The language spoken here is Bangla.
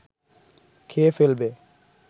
খেয়ে ফেলবে